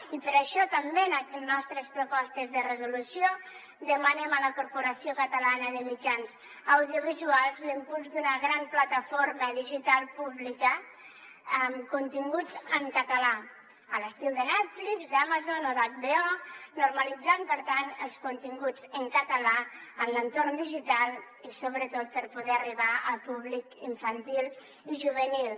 i per això també en les nostres propostes de resolució demanem a la corporació catalana de mitjans audiovisuals l’impuls d’una gran plataforma digital pública amb continguts en català a l’estil de netflix d’amazon o d’hbo normalitzant per tant els continguts en català en l’entorn digital i sobretot per poder arribar al públic infantil i juvenil